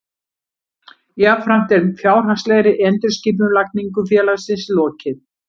Jafnframt er fjárhagslegri endurskipulagningu félagsins lokið